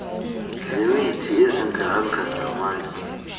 zemithi iziganga zamatye